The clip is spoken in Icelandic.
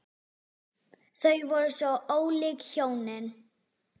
Þau voru svo ólík hjónin.